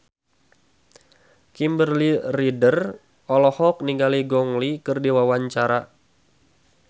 Kimberly Ryder olohok ningali Gong Li keur diwawancara